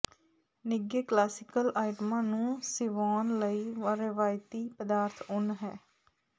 ਨਿੱਘੇ ਕਲਾਸੀਕਲ ਆਈਟਮਾਂ ਨੂੰ ਸਿਵਾਉਣ ਲਈ ਰਵਾਇਤੀ ਪਦਾਰਥ ਉੱਨ ਹੈ